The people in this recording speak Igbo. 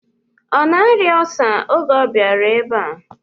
Ọ na-arịa ọlsa oge ọ bịara ebe a?